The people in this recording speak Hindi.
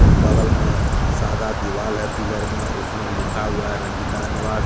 और बगल में सादा दिवाल है पिलर में उसमें लिखा हुआ है रंजिता निवास।